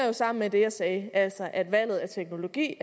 jo sammen med det jeg sagde altså at valget af teknologi